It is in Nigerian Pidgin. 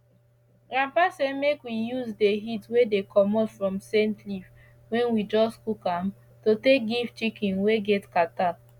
grandpa say make we use the heat wey dey commot from scent leaf wen we just cook am to take give chicken wey get kata